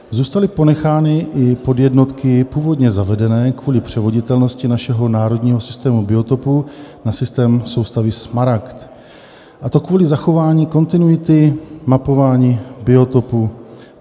Zůstaly ponechány i podjednotky původně zavedené kvůli převoditelnosti našeho národního systému biotopů na systém soustavy Smaragd, a to kvůli zachování kontinuity mapování biotopů.